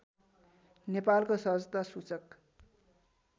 नेपालको सहजता सूचक